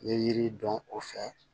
N ye yiri dɔn o fɛ